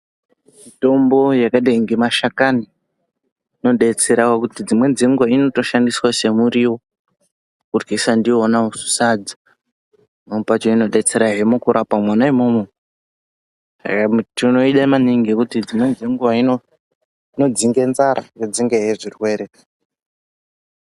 Mitombo yakadai ngemashakani inodetsera ngekuti dzimweni dzenguwa inotoshandiswa semuriwo, kuryisa ndiwona sadza, pamweni pakona inotodetsera he mukurapa mwona umwomwo, tinoida maningi ngekuti dzimweni dzenguwa inodzinge nzara yodzingahe zvirwere.